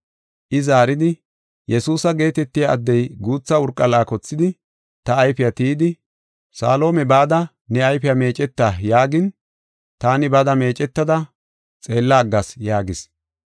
I zaaridi, “Yesuusa geetetiya addey guutha urqa laakothidi ta ayfiya tiyidi, ‘Salihoome bada ne ayfiya meeceta’ yaagin, taani bada meecetada xeella aggas” yaagis.